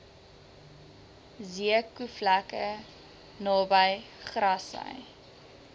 zeekoevlei naby grassy